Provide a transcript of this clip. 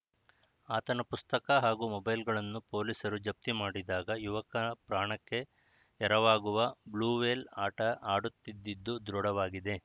ಆತನ ಪುಸ್ತಕ ಹಾಗೂ ಮೊಬೈಲ್‌ಗಳನ್ನು ಪೊಲೀಸರು ಜಪ್ತಿ ಮಾಡಿದಾಗ ಯುವಕ ಪ್ರಾಣಕ್ಕೆ ಎರವಾಗುವ ಬ್ಲೂವೇಲ್‌ ಆಟ ಆಡುತ್ತಿದ್ದದ್ದು ದೃಢವಾಗಿದೆ